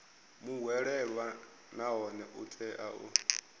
muhwelelwa nahone u tea u